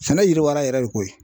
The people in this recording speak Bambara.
Sɛnɛ yiriwara yɛrɛ de koyi.